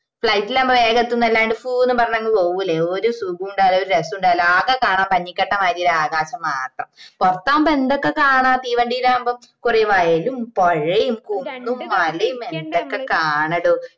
flight ഇലാവുമ്പോ വേഗം എത്തുന്നല്ലാണ്ട് ഫൂ ന്ന് പറഞ്‍ അങ് പോവ്വുല്ലേ ഒരു സുഖ ഇണ്ടാവുല്ല രസോം ഇണ്ടാവുല്ല ആകെ കാണാൻ പഞ്ഞിക്കട്ട മാതിരി ഒരു ആകാശം മാത്രം പുറത്താവുമ്പോ എന്തെല്ലാം കാണാ തീവണ്ടിലാവുമ്പോ കൊറേ വയലും പുഴയും കുന്നും മലയും എല്ലാം ഇതൊക്കെ കാണടോ